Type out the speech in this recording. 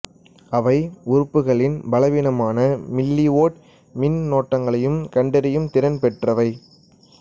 அவை உறுப்புகளில் பலவீனமான மில்லிவோல்ட் மின்னோட்டங்களையும் கண்டறியும் திறன் பெற்றவை